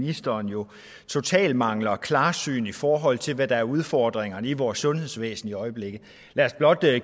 ministeren jo totalt mangler klarsyn i forhold til hvad der er udfordringerne i vores sundhedsvæsen i øjeblikket lad os blot